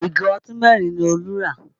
Ìgò ọtí mẹ́rin ni Olú rà